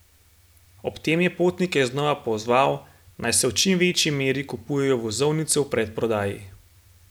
Ob tem je potnike znova pozval, naj v čim večji meri kupujejo vozovnice v predprodaji.